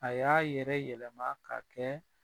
A y'a yɛrɛ yɛlɛma ka kɛ